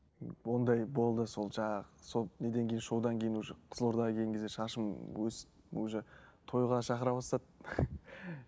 ы ондай болды сол жаңағы сол неден кейін шоудан кейін уже қызылордаға келген кезде шашым өсіп уже тойға шақыра бастады